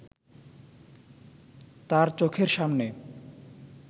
তাঁর চোখের সামনে